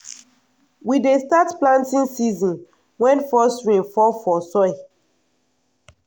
we dey start planting season wen first rain fall for soil.